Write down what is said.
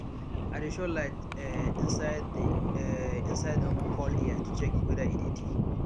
i dey show light um inside the um inside the woman fowl ear to check whether e dirty